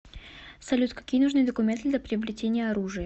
салют какие нужны документы для приобретения оружия